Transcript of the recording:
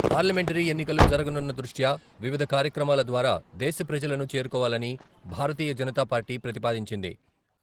Parliamentary ఎన్నికలు జరగనున్న దృష్ట్యా వివిధ కార్యక్రమాల ద్వారా దేశ ప్రజలను చేరుకోవాలని భారతీయ జనతా పార్టీ ప్రతిపాదించింది.